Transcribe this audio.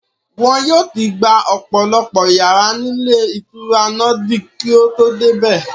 Wọ́n yóò ti gba ọ̀pọ̀lọpọ̀ yàrá ní ilé ìtura Nordic kí o tó dé bẹ̀